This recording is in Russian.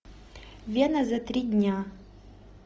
вена за три дня